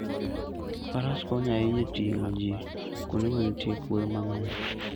Faras konyo ahinya e ting'o ji kuonde ma nitie kuoyo mang'eny.